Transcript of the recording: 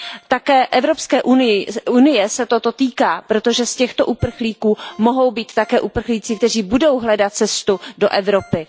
Také Evropské unie se toto týká, protože z těchto uprchlíků mohou být také uprchlíci, kteří budou hledat cestu do Evropy.